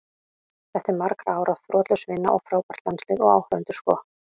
Þetta er margra ára þrotlaus vinna og frábært landslið, og áhorfendur sko.